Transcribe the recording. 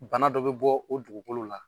Bana dɔ bɛ bɔ o dugukolo la